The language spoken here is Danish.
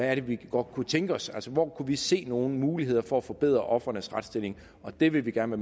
er vi godt kunne tænke os altså hvor vi kunne se nogle muligheder for at forbedre ofrenes retsstilling og det vil vi gerne